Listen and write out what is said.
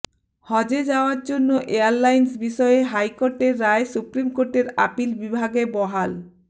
হজে যাওয়ার জন্য এয়ারলাইন্স বিষয়ে হাইকোর্টের রায় সুপ্রিম কোর্টের আপিল বিভাগে বহাল